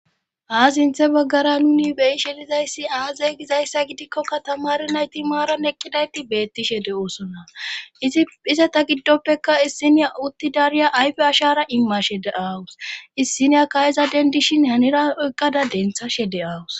Ha sinthe baggara nuni beyishelizayssi aazey gizayssa gidikkoka tamari nayti maaran eqqidayti beettishe de 7oosona iiize ta giddoppeka issiniya utti dariya ayfe ashara immashe de aawus issiniya ka7eza dendishin hanira oqqada denthashe de'awus